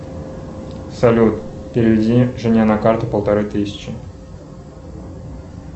салют переведи жене на карту полторы тысячи